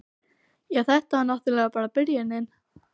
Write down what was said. Já, þetta var náttúrlega bara byrjunin.